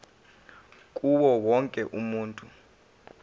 kuwo wonke umuntu